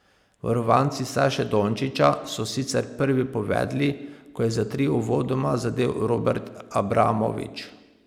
Varovanci Saše Dončiča so sicer prvi povedli, ko je za tri uvodoma zadel Robert Abramovič.